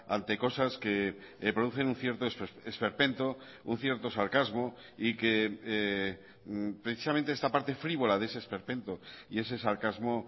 ante cosas que producen un cierto esperpento un cierto sarcasmo y que precisamente esta parte frívola de ese esperpento y ese sarcasmo